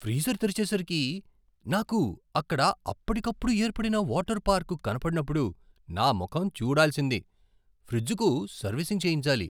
Freezer తెరిచేసరికి, నాకు అక్కడ అప్పటికప్పుడు ఏర్పడిన వాటర్ పార్కు కనబడినప్పుడు నా ముఖం చూడాల్సింది. ఫ్రిజ్కు సర్వీసింగ్ చేయించాలి.